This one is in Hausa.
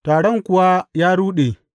Taron kuwa ya ruɗe.